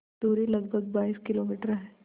दूरी लगभग बाईस किलोमीटर है